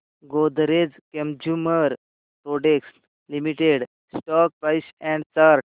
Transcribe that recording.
Godrej consumer products limited stock price and chart